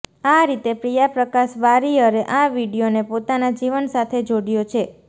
આ રીતે પ્રિયા પ્રકાશ વારિયરે આ વીડિયોને પોતાના જીવન સાથે જોડ્યો છે